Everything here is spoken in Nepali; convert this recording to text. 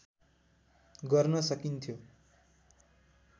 गर्न सकिन्थ्यो